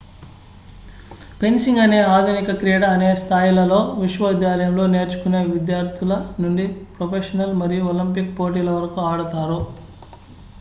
fencing అనే ఆధునిక క్రీడ అనేక స్థాయిలలో విశ్వవిద్యాలయంలో నేర్చుకునే విద్యార్థుల నుండి ప్రొఫెషనల్ మరియు ఒలింపిక్ పోటీల వరకు ఆడుతారు